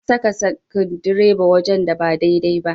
Na saka sukudireba wajen da ba daidai ba.